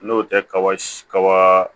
N'o tɛ kaba kaba